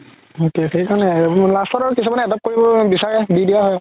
সেইতোৱে সেইকাৰণে last ত আৰু কিছুমানে adopt কৰিব বিচাৰে দিয়া হয়